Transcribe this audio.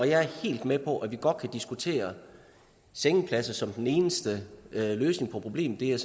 jeg er helt med på at vi godt kan diskutere sengepladser som den eneste løsning på problemet det er